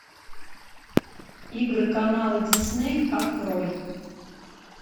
игры канала дисней открой